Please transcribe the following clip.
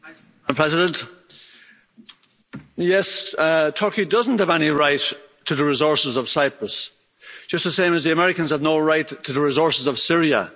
Madam President, yes, Turkey doesn't have any right to the resources of Cyprus, just the same as the Americans have no right to the resources of Syria.